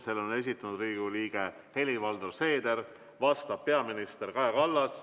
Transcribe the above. Selle on esitanud Riigikogu liige Helir-Valdor Seeder, vastab peaminister Kaja Kallas.